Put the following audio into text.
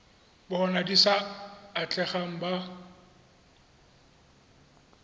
bona di sa atlegang ba